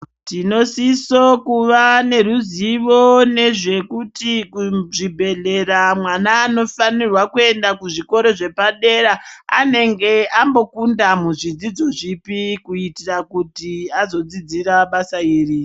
Tinosisa kuva neruzivo nezvekuti kuzvibhedhlera vana vaofanirwa kuenda kuzvikora zvepadera anenge ambokunda muzvidzidzo zvipi kuitira kuti azodzidza basa iri .